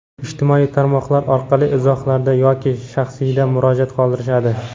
ijtimoiy tarmoqlar orqali izohlarda yoki shaxsiyda murojaat qoldirishadi.